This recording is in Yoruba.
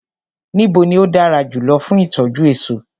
Níbo ni ó dára jùlọ fún ìtọ́jú èso.